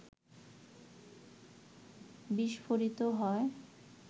বিস্ফোরিত হয়